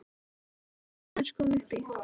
Má ég aðeins koma upp í?